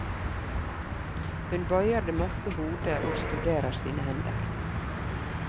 Hun bøyer det mørke hode og studerer sine hender.